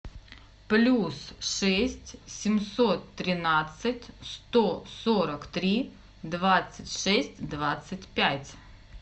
плюс шесть семьсот тринадцать сто сорок три двадцать шесть двадцать пять